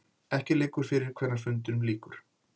Ekki liggur fyrir hvenær fundinum lýkur